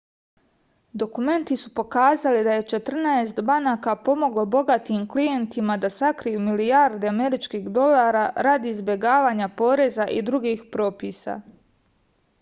dokumenti su pokazali da je četrnaest banaka pomoglo bogatim klijentima da sakriju milijarde američkih dolara radi izbegavanja poreza i drugih propisa